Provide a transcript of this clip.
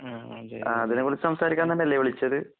അ അതിനെക്കുറിച്ച്സംസാരിക്കാൻതന്നെയല്ലെ വിളിച്ചത്?